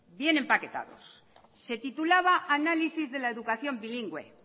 bien empaquetados se titulaba análisis de la educación bilingüe